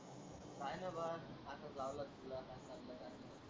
काय नाही बाबा असच लावला होता तुला काय चाललंय काय नाही?